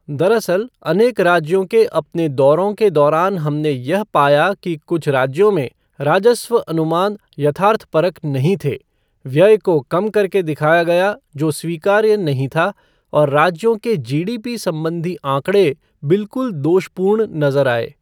दरअसल, अनेक राज्यों के अपने दौरों के दौरान हमने यह पाया कि कुछ राज्यों में राजस्व अनुमान यथार्थपरक नहीं थे, व्यय को कम करके दिखाया गया जो स्वीकार्य नहीं था और राज्यों के जीडीपी संबंधी आंकड़े बिल्कुल दोषपूर्ण नजर आये।